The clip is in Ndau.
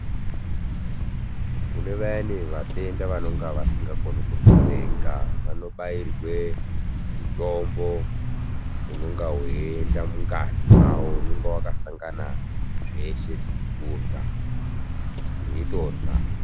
Kune vayani vatenda vanonga vasingagoni kurya vega vanobairwe mutombo unonga weienda mungazi mwawo unonga wakasangana zveshe zvokurya ,veitorya.